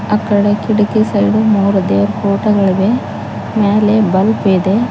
ಆ ಕಡೆ ಕಿಡಕಿ ಸೈಡ್ ಮೂರು ದೇವರ್ ಫೋಟೋ ಗಳಿವೆ ಮ್ಯಾಲೆ ಬಲ್ಬ್ ಇದೆ.